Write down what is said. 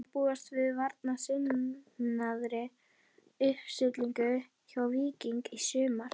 Má búast við varnarsinnaðri uppstillingu hjá Víkingi í sumar?